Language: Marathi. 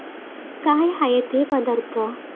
काय आहेत हे पदार्थ?